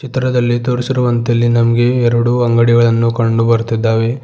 ಚಿತ್ರದಲ್ಲಿ ತೋರಿಸಿರುವಂತೆ ಇಲ್ಲಿ ನಮ್ಗೆ ಎರಡು ಅಂಗಡಿಗಳನ್ನು ಕಂಡು ಬರ್ತಿದ್ದಾವೆ.